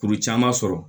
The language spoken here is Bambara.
Kuru caman sɔrɔ